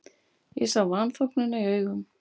Ég sá vanþóknunina í augum